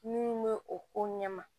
Minnu bɛ o ko ɲɛ ma